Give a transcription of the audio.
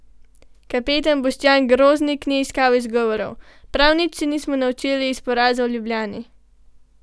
Kapetan Boštjan Groznik ni iskal izgovorov: "Prav nič se nismo naučili iz poraza v Ljubljani.